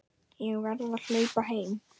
Ég verð að hlaupa heim.